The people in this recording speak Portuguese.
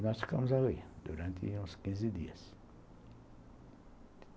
E nós ficamos ali durante uns quinze dias.